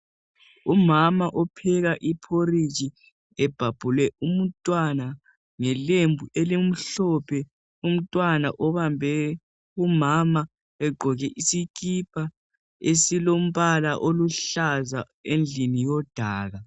Umama opheka iphoriji ebhabhule umntwana ngelembu elimhlophe, umntwana obambe umama egqoke isikipa esilombala oluhlaza endlini yodaka